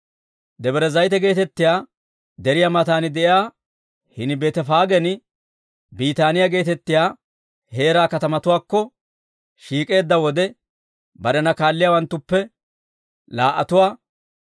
Debre Zayite geetettiyaa deriyaa matan de'iyaa hini Beetefaagen Biitaaniyaa geetettiyaa heeraa katamatuwaakko shiik'eedda wode barena kaalliyaawanttuppe laa"atuwaa,